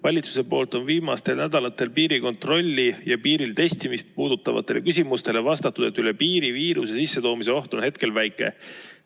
Valitsus on viimastel nädalatel piirikontrolli ja piiril testimist puudutavatele küsimustele vastanud, et üle piiri viiruse sissetoomise oht on hetkel väike.